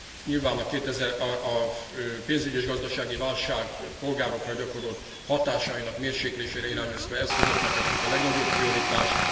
Nyilván a pénzügyi és gazdasági válság polgárokra gyakorolt hatásainak mérséklésére irányuló eszközöknek adtuk a legnagyobb prioritást.